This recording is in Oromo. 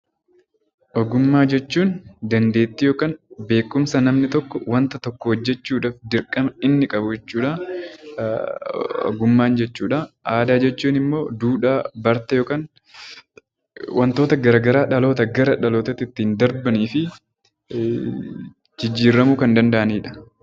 Ogummaa jechuun dandeettii yookiin beekumsa namni tokko wanta tokko hojjechuudhaaf dirqama inni qabu jechuudha. Aadaa jechuun immoo duudhaa, bartee yookiin wantoota garaa garaa dhalootaa gara dhalootaa ittiin darbanii fi jijjiirramuu kan danda'anidha.